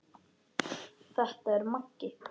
Þetta er Maggi!